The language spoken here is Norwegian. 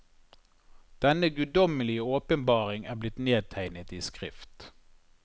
Denne guddommelige åpenbaring er blitt nedtegnet i skrift.